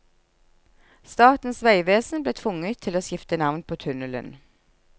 Statens vegvesen ble tvunget til å skifte navn på tunnelen.